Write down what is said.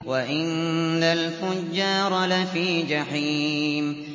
وَإِنَّ الْفُجَّارَ لَفِي جَحِيمٍ